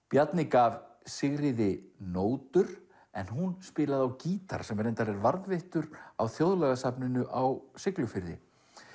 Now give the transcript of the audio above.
Bjarni gaf Sigríði nótur en hún spilaði á gítar sem reyndar er varðveittur á á Siglufirði